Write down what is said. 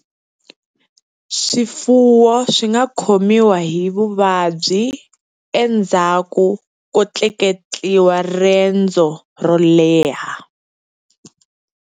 Swifuwo swi nga khomiwa hi vuvabyi endzhaku ko tleketliwa rendzo ro leha.